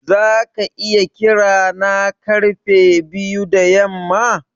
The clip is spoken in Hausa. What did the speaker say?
Zaka iya kira na karfe biyu da yamma?